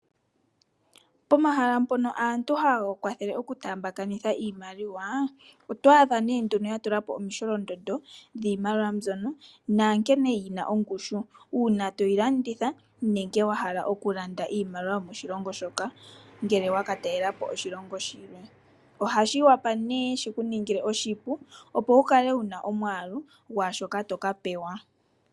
Pomahala mpoka aantu haya kwathele oku taamba kani thana iimaliwa otwadha ne nduno yatulapo omisholondondo dhimaliwa mbyono naankene yina ongushu uuna toyi landitha nenge wahala okulanda iimaliwa yomoshilongo shoka ngele waka talelapo oshilongo shilwe . Ohashi wapa ne shikuningile oshipu opo wukale wuna omwalu gwashoka toka pewa.